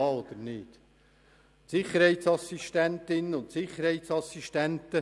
Es handelt sich um ungefähr 90 Sicherheitsassistentinnen und Sicherheitsassistenten.